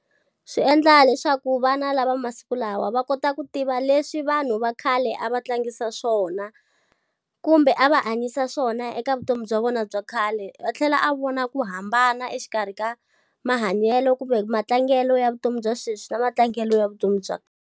Swi endla leswaku vana lava masiku lawa va kota ku tiva leswi vanhu va khale a va tlangisa swona, kumbe a va hanyisa swona eka vutomi bya vona bya khale. A tlhela a vona ku hambana exikarhi ka mahanyelo kumbe matlangelo ya vutomi bya sweswi na matlangelo ya vutomi bya.